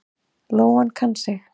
Lóan kann sig.